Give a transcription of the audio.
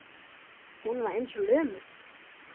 Hún var eins og lömuð.